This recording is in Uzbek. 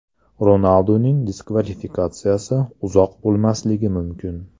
Ronalduning diskvalifikatsiyasi uzoq bo‘lmasligi mumkin.